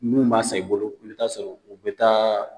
Munnu ma sa, i bolo, i bi taa sɔrɔ u be taa